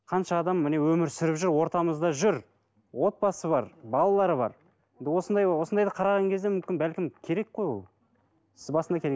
қанша адам міне өмір сүріп жүр ортамызда жүр отбасы бар балалары бар енді осындайды осындайды қараған кезде мүмкін бәлкім керек қой ол сіз басында